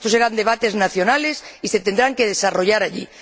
Estos serán debates nacionales y se tendrán que desarrollar allí.